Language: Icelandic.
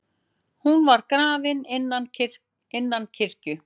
Hún var grafin innan kirkju.